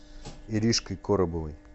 иришкой коробовой